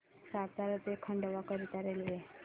सातारा ते खंडवा करीता रेल्वे